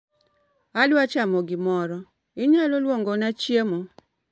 Adwa chamo gimoro, inyalo luongona chiemo